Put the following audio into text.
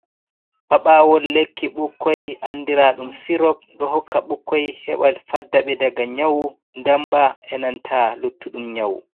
paɓaawal lekki ɓikkoy andiraa ɗum sirop ɗo hokka ɓukkoy heɓa fadda ɓe daga nyawu ndamba e nanta luttuɗum nyawu.